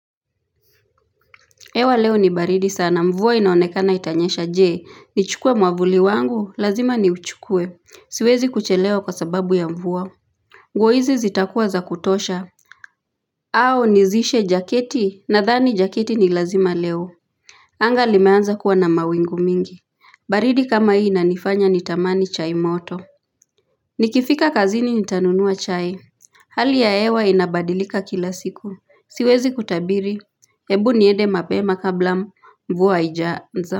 Hewa leo ni baridi sana mvua inaonekana itanyesha je, nichukue mwavuli wangu, lazima niuchukue, siwezi kuchelewa kwa sababu ya mvuwa nguo hizi zitakuwa za kutosha au nizishe jaketi nathani jaketi ni lazima leo anga limeanza kuwa na mawingu mingi, baridi kama hii inanifanya nitamani chai moto Nikifika kazini nitanunua chai Hali ya hewa inabadilika kila siku, siwezi kutabiri, ebu niende mapema kabla mvua haijaanza.